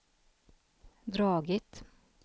dragit